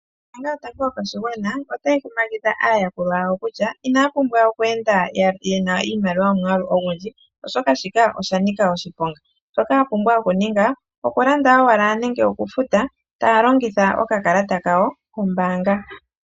Ombaanga yotango yopashigwana otayi kumagidha aayakulwa yawo kutya inaya pumbwa oku enda yena omwaalu gwiimaliwa oyindji komalutu gawo oshoka oshili shanika oshiponga. Shoka ya pumbwa okuninga, okulanda nokufuta Taya longitha omukalo gokufuta nokakalata kombaanga